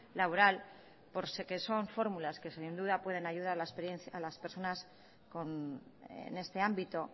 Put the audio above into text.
laborales porque son fórmulas que sin duda pueden ayudar a las personas en este ámbito